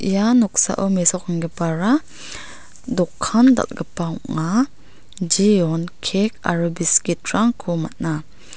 ia noksao mesokenggipara dokan dal·gipa ong·a jeon kek aro biskit rangko man·a.